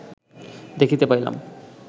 দেখিতে পাইলাম